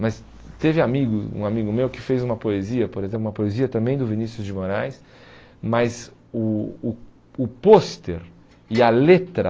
Mas teve amigo um amigo meu que fez uma poesia, por exemplo, uma poesia também do Vinícius de Moraes, mas o o o pôster e a letra